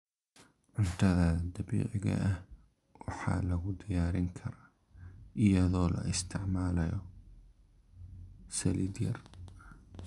Cuntada dabiiciga ah waxaa lagu diyaarin karaa iyadoo la isticmaalayo saliid yar.